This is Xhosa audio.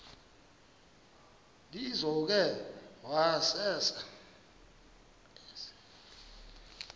lizo ke wayesel